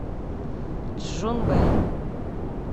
чжунвэй